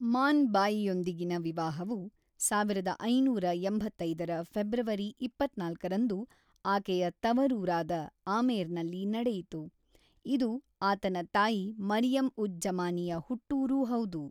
ಮಾನ್ ಬಾಯಿಯೊಂದಿಗಿನ ವಿವಾಹವು ಸಾವಿರದ ಐನೂರ ಎಂಬತ್ತೈದರ ಫೆಬ್ರವರಿ ಇಪ್ಪತ್ತ್ನಾಲ್ಕರಂದು ಆಕೆಯ ತವರೂರಾದ ಆಮೇರ್‌ನಲ್ಲಿ ನಡೆಯಿತು, ಇದು ಆತನ ತಾಯಿ ಮರಿಯಂ-ಉಜ್-ಜ಼ಮಾನಿಯ ಹುಟ್ಟೂರೂ ಹೌದು.